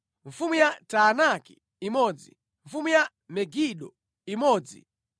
mfumu ya Taanaki imodzi mfumu ya Megido imodzi